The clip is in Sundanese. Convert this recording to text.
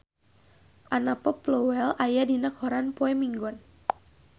Anna Popplewell aya dina koran poe Minggon